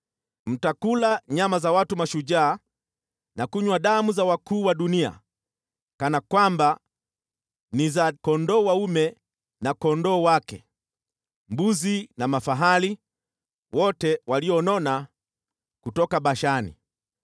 Mtakula nyama za watu mashujaa na kunywa damu za wakuu wa dunia kana kwamba ni za kondoo dume na kondoo wake, mbuzi na mafahali, wote walionona kutoka Bashani.